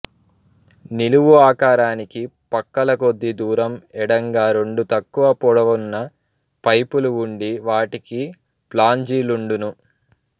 నిలువు ఆకారానికి పక్కల కొద్ది దూరం ఎడంగా రెండు తక్కువ పొడవున్న పైపులు వుండి వాటికీ ఫ్లాంజిలుండును